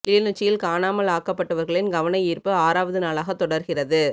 கிளிநொச்சியில் காணாமல் ஆக்கப்பட்டவர்களின் கவனயீர்ப்பு ஆறாவது நாளாக தொடர்கிறது